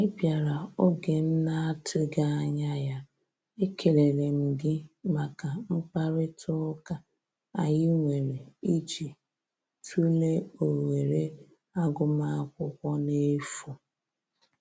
Ị bịara oge m na atụghị anya ya, ekelere m gị maka mkparịta ụka anyị nwere ịjị tụlee ohere agụm akwụkwọ n'efu